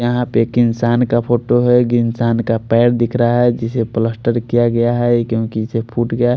यहाँ पर एक इंसान का फोटो है एक इंसान का पैर दिख रहा है जिसे गया है क्योकि इसे फूट गया--